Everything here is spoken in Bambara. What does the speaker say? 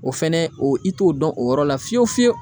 O fɛnɛ o i t'o dɔn o yɔrɔ la fiyewu fiyewu